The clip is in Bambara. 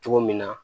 Cogo min na